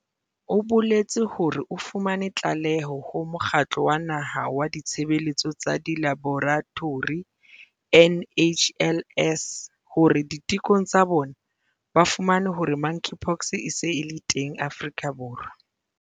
O boletse hore o fumane tlaleho ho Mokgatlo wa Naha wa Ditshebeletso tsa Dilaboratori, NHLS, hore ditekong tsa bona ba fumane hore Monkeypox e se e le teng Afrika Borwa.